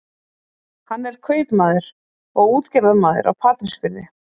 Hann er kaupmaður og útgerðarmaður á Patreksfirði.